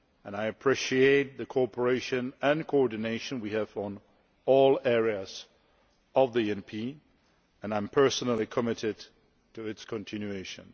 I appreciate the cooperation and coordination we have on all areas of the ENP, and I am personally committed to its continuation.